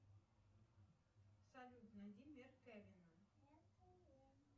салют найди мир кевина